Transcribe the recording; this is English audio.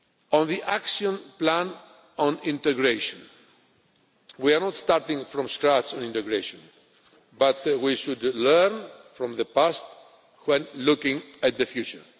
On the action plan on integration, we are not starting from scratch on integration but we should learn from the past when looking at the future.